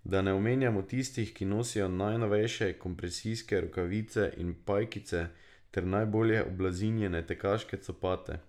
Da ne omenjamo tistih, ki nosijo najnovejše kompresijske rokave in pajkice ter najbolje oblazinjene tekaške copate.